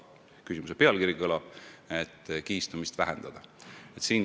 Praegune valitsus on seda jõudumööda ka teinud.